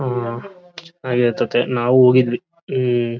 ಉಹ್ ಹಾಗೆ ಇರ್ ತ್ಯ ತೇ ನಾವು ಹೋಗಿದ್ದವಿ ಉಹ್.